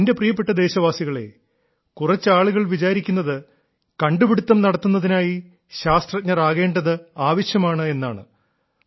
എന്റെ പ്രിയപ്പെട്ട ദേശവാസികളേ കുറച്ചാളുകൾ വിചാരിക്കുന്നത് കണ്ടുപിടുത്തം നടത്തുന്നതിനായി ശാസ്ത്രജ്ഞർ ആകേണ്ടത് ആവശ്യമാണ് എന്നാണ്